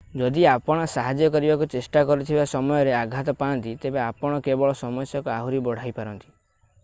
ଯଦି ଆପଣ ସାହାଯ୍ୟ କରିବାକୁ ଚେଷ୍ଟା କରୁଥିବା ସମୟରେ ଆଘାତ ପାଆନ୍ତି ତେବେ ଆପଣ କେବଳ ସମସ୍ୟାକୁ ଆହୁରି ବଢ଼ାଇପାରନ୍ତି